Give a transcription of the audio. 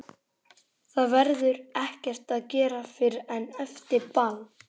Það verður ekkert að gera fyrr en eftir ball.